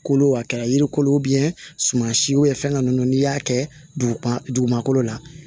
Kolo a kɛra yiri kolo suman siw ye fɛn ninnu n'i y'a kɛ dugu ma kolo la